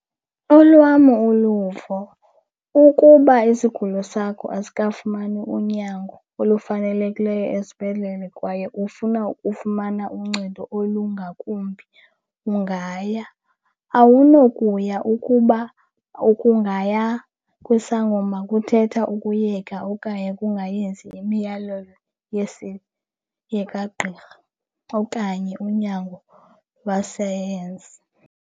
Olwam uluvo, ukuba isigulo sakho asikafumani unyango olufanelekileyo esibhedlele kwaye ufuna ufumana uncedo olungakumbi ungaya. Awunokuya ukuba ukungaya kwisangoma kuthetha ukuyeka okanye ukungayenzi imiyalelo yekagqirha okanye unyango lwesayensi.